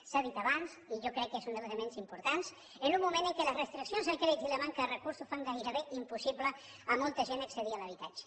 s’ha dit abans i jo crec que és un dels elements importants en un moment en què les restriccions al crèdit i la manca de recursos fan gairebé impossible a molta gent accedir a l’habitatge